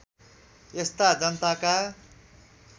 यस्ता जनताका